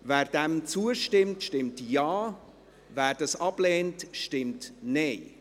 Wer dem zustimmt, stimmt Ja, wer es ablehnt, stimmt Nein.